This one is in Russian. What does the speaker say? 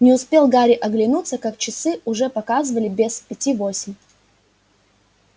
не успел гарри оглянуться как часы уже показывали без пяти восемь